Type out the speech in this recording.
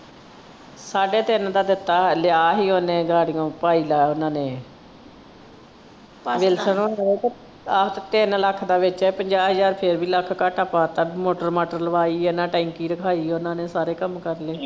ਸਾਢੇ ਤਿੰਨ ਦਾ ਦਿੱਤਾ ਲਿਆ ਹੀ ਓਹਨੇ ਗਾੜੀਓਂ ਭਾਈ ਲਾਇਆ ਓਹਨਾ ਨੇ ਆਹੋ ਤੇ ਤਿੰਨ ਲੱਖ ਦਾ ਵੇਚਿਆ ਪੰਜਾਹ ਹਜ਼ਾਰ ਫੇਰ ਵੀ ਲੱਖ ਘਾਟਾ ਪਾ ਤਾ motor ਮਾਟਰ ਲਵਾਈ ਆ ਟੈਂਕੀ ਰਖਾਈ ਓਹਨਾ ਨੇ ਸਾਰੇ ਕੰਮ ਕਰਲੇ।